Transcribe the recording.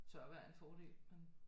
Tørvejr er en fordel men